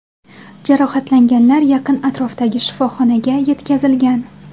Jarohatlanganlar yaqin atrofdagi shifoxonaga yetkazilgan.